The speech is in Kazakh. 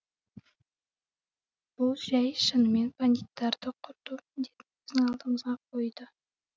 бұл жай шынымен бандиттарды құрту міндетін біздің алдымызға қойды